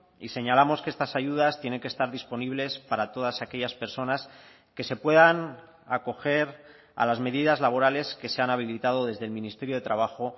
y señalamos que estas ayudas tienen que estar disponibles para todas aquellas personas que se puedan acoger a las medidas laborales que se han habilitado desde el ministerio de trabajo